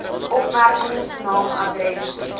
opmerkings naam adres